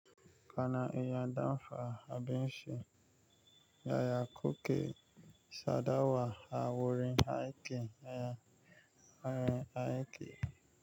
Kana iya dafa abinci, yaya kuke sadawa a wurin aiki na wurin aiki?